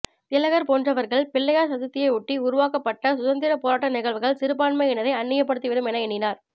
திலகர் போன்றவர்கள் பிள்ளையார் சதுர்த்தியை ஒட்டி உருவாக்கப்பட்ட சுதந்திரப் போராட்ட நிகழ்வுகள் சிறுபான்மையினரை அன்னியப்படுத்திவிடும் என எண்ணினார்